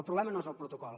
el problema no és el protocol